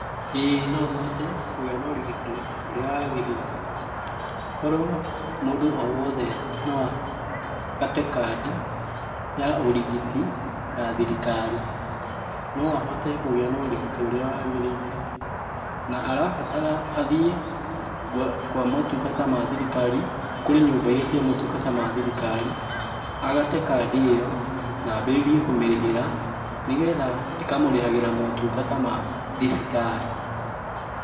Ĩĩ no hote kũgĩa na ũrigitani ũrĩa wagĩrĩire. Korwo, mũndũ o wothe, no agate kandi, ya ũrigiti, ya thirikari, no ahote kũgĩa na ũrigiti ũrĩa wagĩrĩire, na arabatara athiĩ kwa kwa motungata ma thirikari, kũrĩ nyũmba iria cia motungata ma thirikari, agate kandi ĩyo, na ambĩrĩrie kũmĩrĩhĩra, nĩgetha, ĩkamũrĩhagĩra motungata ma thibitarĩ.